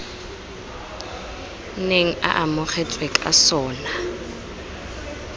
neng e amogetswe ka sona